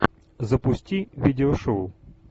запусти видео шоу